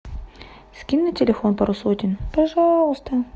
скинь на телефон пару сотен пожалуйста